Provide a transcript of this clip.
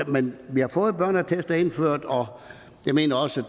men vi har fået børneattester indført og jeg mener også